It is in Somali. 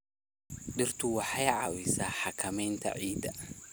Dhirtu waxay caawisaa xakamaynta ciidda.